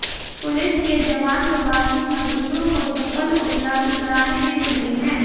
police के जवान प्रवासी मजदूरों को चप्पल उपलब्ध कराने में जुटे हैं